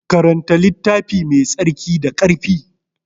Karanta littafi Mai tsarki da ƙarfi.